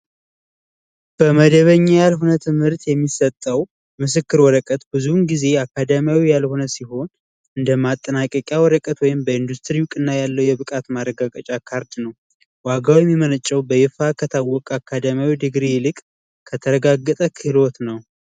በመደበኛ ያልሆነ ትምህርት የሚሰጠው ምስክር ወረቀት ብዙ ጊዜ አካዳሚ ያልሆነ ሲሆን እንደማጠናቀቂያ ወረቀት ወይም በኢንዱስትሪ እና ያለው የብቃት ማረጋገጫ ካርድ ነው። ዋጋው የሚመነጨው በይፋ ከታወቀ አካዳሚካዊ ይልቅ ከተረጋገጠ ክህሎት ነው።